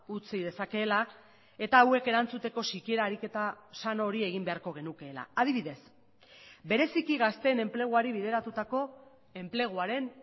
utzi dezakeela eta hauek erantzuteko sikiera ariketa sano hori egin beharko genukeela adibidez bereziki gazteen enpleguari bideratutako enpleguaren